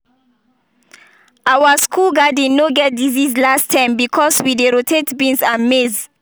our school garden no get disease last term because we dey rotate beans and maize.